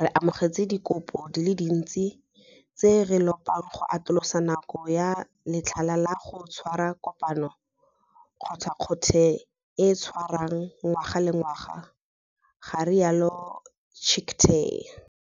re amogetse dikopo di le dintsi tse di re lopang go atolosa nako ya letlha la go tshwara kopano kgothakgothe e e tshwarwang ngwaga le ngwaga, ga rialo Chicktay.